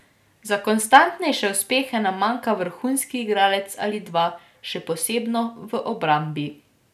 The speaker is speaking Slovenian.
Za konstantnejše uspehe nam manjkata vrhunski igralec ali dva, še posebno v obrambi.